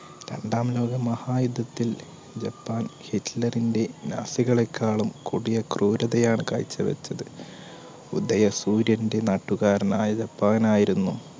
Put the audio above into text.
രണ്ടാം ലോക മഹായുദ്ധത്തിൽ ജപ്പാൻ ഹിറ്റ്ലറിന്റെ നാസികളെക്കാളും കൊടിയ ക്രൂരതയാണ് കാഴ്ച്ച വെച്ചത് ഉദയ സൂര്യന്റെ നാട്ടുകാരനായ ജപ്പാനായിരുന്നു